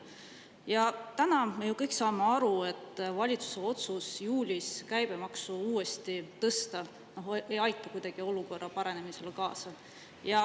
Ja täna me kõik saame aru, et valitsuse otsus juulis käibemaksu uuesti tõsta ei aita kuidagi olukorra paranemisele kaasa.